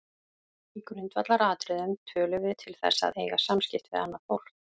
Í grundvallaratriðum tölum við til þess að eiga samskipti við annað fólk.